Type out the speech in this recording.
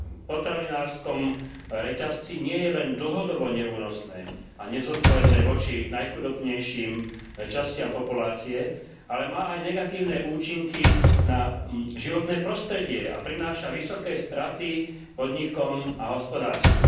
potravinárskom reťazci nie je len dlhodobo neúnosné a nezodpovedné voči najchudobnejším častiam populácie, ale má aj negatívne účinky na životné prostredie a prináša vysoké straty podnikom a hospodárstvu.